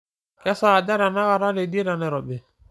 kesaaja tenakata teidie tenairobi